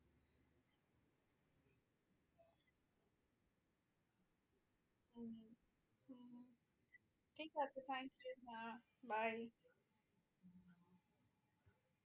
ঠিক আছে thank you bye bye